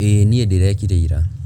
ĩĩ niĩ ndĩrekire ira